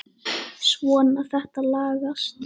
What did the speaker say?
Svona, þetta lagast